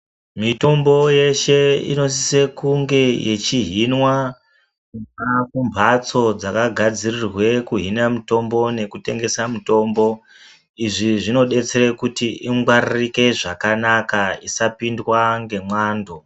Mitombo yeshe inosise kunge yechihinwa kubva kumhatso dzakagadzirirwe kuhina mitombo nekutengesa mutombo. Izvi zvinobetsere kuti igwaririke zvakanaka isapindwa ngemwando.